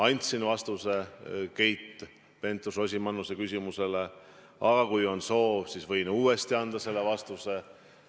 Andsin vastuse Keit Pentus-Rosimannuse küsimusele, aga kui on soov, siis võin selle vastuse uuesti anda.